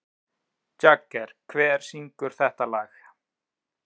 Jagger, hver syngur þetta lag?